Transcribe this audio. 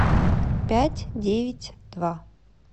пять девять два